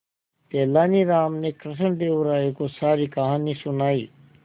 तेलानी राम ने कृष्णदेव राय को सारी कहानी सुनाई